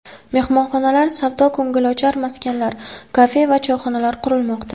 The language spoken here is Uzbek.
Mehmonxonalar, savdo-ko‘ngilochar maskanlar, kafe va choyxonalar qurilmoqda.